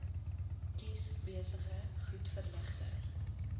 kies besige goedverligte